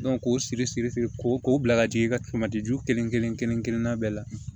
k'o siri siri siri ko k'o bila ka jigin i ka ju kelen-kelen kelen kelen kelenna bɛɛ la